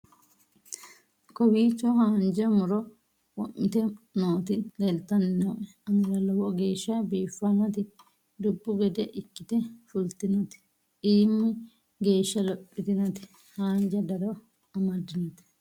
kowiicho haanjja muro wo'mite nooti leeltanni nooe anera lowo geeshsha biiffannoti dubbu gede ikkite fultinoti iimi geeshsha lophitinoti hanja daro amaddinoti